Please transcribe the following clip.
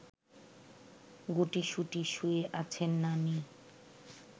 গুটিসুটি শুয়ে আছেন নানি